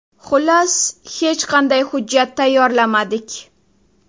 Xullas, hech qanday hujjat tayyorlamadik.